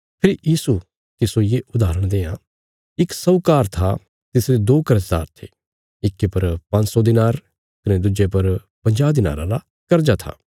फेरी यीशु तिस्सो ये उदाहरण देआं इक साहूकार था तिसरे दो कर्जदार थे इक्की पर पांज्ज सौ दिनार कने दुज्जे पर पंजाह दिनाराँ रा कर्जा था